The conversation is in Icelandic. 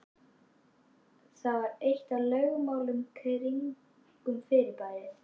Það var eitt af lögmálunum kringum fyrirbærið.